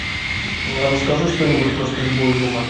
расскажи что нибудь про стрельбу из лука